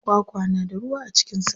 Kwakwa na da ruwa a cikin sa.